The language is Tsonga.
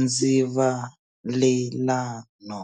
ndzivalelano.